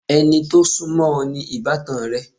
Ẹni tó sún mọ́ o ni ìbátan rẹ.